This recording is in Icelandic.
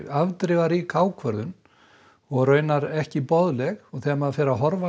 afdrifarík ákvörðun og raunar ekki boðleg þegar maður fer að horfa